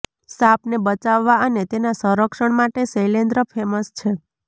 સાપને બચાવવા અને તેના સંરક્ષણ માટે શૈલેન્દ્ર ફેમસ છે